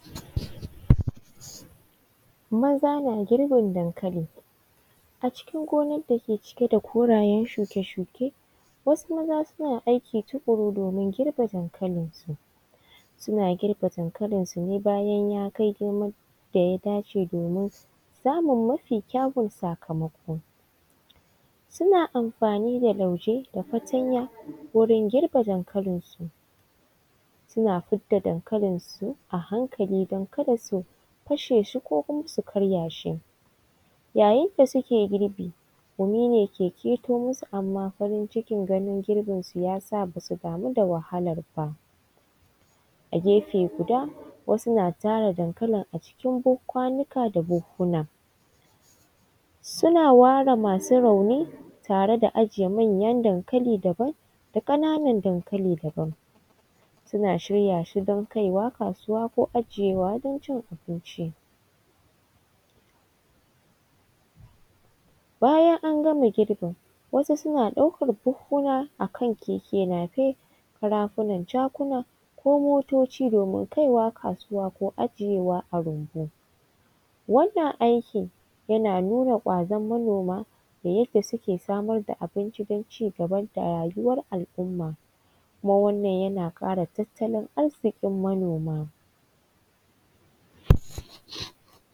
Maza na girbin dankali, a cikin gonan dake cike da korayen shuke-shuke wasu maza na aiki tukuru domin girɓe dankalinsu suna girbe dankalin su ne bayan ya kai girman da ya dace domin samun mafi kyawan sakamako suna amfani da lauje da fatanya wurin girba dankalin su suna fidda dankalin su a hankali don kada su kashe shi ko kuma su karya shi, yayin da suke girbi gumi ne ke keto musu amma farincin ganin girbin su yasa basu damu da wahalar ba, a gefe guda wasu na tara dankalin a cikin kwanuka da buhuna suna ware masu rauni tare da ajiye manyan dankali daban da kananan dankali daban suna shirya shi don kaiwa kasuwa ko ajiyewa don cin abinci, bayan an gama girbin wasu suna ɗaukar buhuna akan keke napep, karafunan jakuna ko motoci domin kaiwa kasuwa ko ajiyewa a rumbu wannan aikin yana nuna gwazon manoma da yadda suke samar da abinci don cigaba da rayuwar al’umma kuma wannan yana kara tattalin arziki manoma.